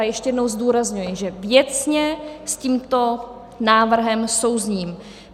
A ještě jednou zdůrazňuji, že věcně s tímto návrhem souzním.